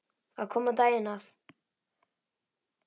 Það kom á daginn að